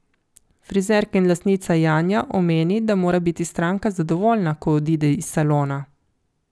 Frizerka in lastnica Janja omeni, da mora biti stranka zadovoljna, ko odide iz salona.